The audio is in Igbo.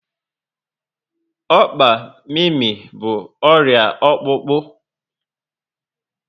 Ọkpa mimi bụ ọrịa ọkpụkpụ